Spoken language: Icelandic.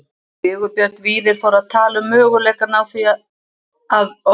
Sigurbjörn Víðir fór að tala um möguleikann á því að orð